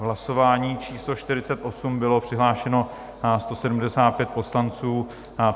V hlasování číslo 48 bylo přihlášeno 175 poslanců.